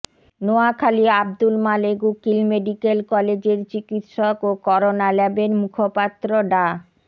Noakhali Abdul Malek Ukil medical কলেজের চিকিৎসক ও করোনা ল্যাবের মুখপাত্র ডা